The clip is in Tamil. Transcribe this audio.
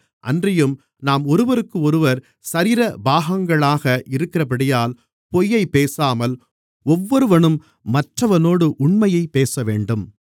அன்றியும் நாம் ஒருவருக்கொருவர் சரீர பாகங்களாக இருக்கிறபடியால் பொய்யைப் பேசாமல் ஒவ்வொருவனும் மற்றவனோடு உண்மையைப் பேசவேண்டும்